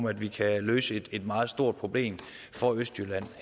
at vi kan løse et meget stort problem for østjylland